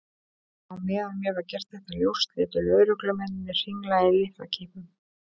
Á meðan mér var gert þetta ljóst létu lögreglumennirnir hringla í lyklakippum.